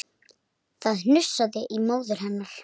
Það hnussaði í móður hennar